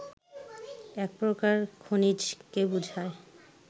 এক প্রকার খনিজকে বুঝায়